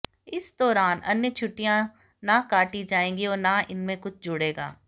इस दौरान अन्य छुट्टियां न काटी जाएंगी और न इनमें कुछ जुड़ेगा